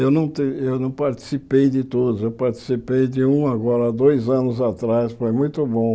Eu não te eu não participei de todos, eu participei de um agora há dois anos atrás, foi muito bom.